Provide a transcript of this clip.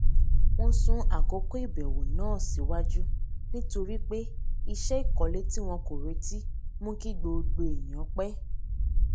wón sún àkókò ìbèwò náà síwájú nítorí pé iṣé ìkólé tí wọn kò retí mú kí gbogbo èèyàn pé